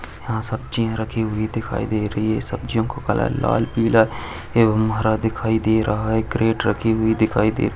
यहाँ सब्जिया रखी हुई दिखाई दे रही है सब्जियों का कलर लाल पीला एवं हरा दिखाई दे रहा है क्रेट रखी हुई दिखाई दे रही --